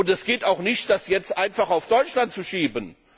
Es geht auch nicht, das jetzt einfach auf Deutschland zu schieben.